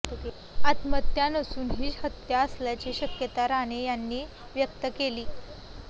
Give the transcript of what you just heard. आत्महत्या नसून ही हत्या असल्याची शक्यता राणे यांनी व्यक्त केली